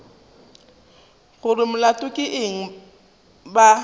gore molato ke eng ba